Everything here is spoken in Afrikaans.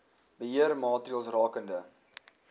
beheer maatreëls rakende